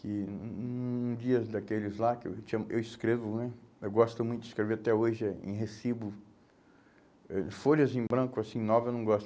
que um um um dias daqueles lá, que eu tinha, que eu escrevo né, eu gosto muito de escrever até hoje eh em recibo, eh folhas em branco, assim, nova, eu não